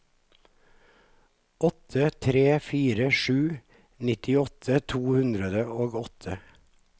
åtte tre fire sju nittiåtte to hundre og åtte